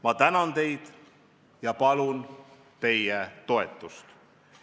Ma tänan teid ja palun teie toetust.